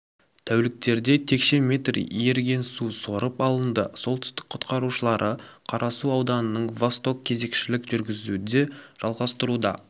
тәуліктерде текше метр еріген су сорып алынды солтүстік құтқарушылары қарасу ауданының восток кезекшілік жүргізуді жалғастыруда